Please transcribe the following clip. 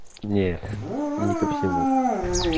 нет не ко всему